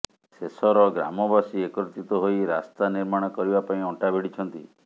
ଶେଷର ଗ୍ରାମବାସୀ ଏକତ୍ରିତ ହୋଇ ରାସ୍ତା ନିର୍ମାଣ କରିବା ପାଇଁ ଅଣ୍ଟା ଭିଡ଼ିଛନ୍ତି